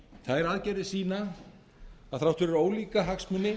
þær aðgerðir sýna að þrátt fyrir ólíka hagsmuni